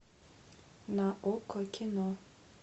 на окко кино